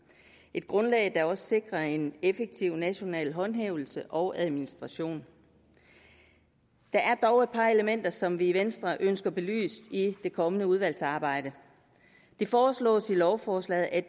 et grundlag der også sikrer en effektiv national håndhævelse og administration der er dog et par elementer som vi i venstre ønsker belyst i det kommende udvalgsarbejde det foreslås i lovforslaget at